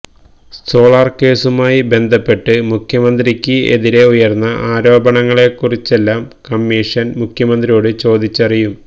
solar കേസുമായി ബന്ധപ്പെട്ട് മുഖ്യമന്ത്രിക്ക് എതിരെ ഉയര്ന്ന ആരോപണങ്ങളെക്കുറിച്ചെല്ലാം കമ്മീഷന് മുഖ്യമന്ത്രിയോട് ചോദിച്ചറിയും